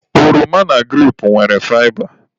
Oroma na grape nwere faịba.